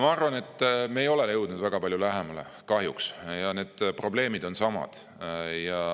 Ma arvan, et kahjuks me ei ole jõudnud väga palju lähemale ja probleemid on samad.